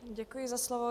Děkuji za slovo.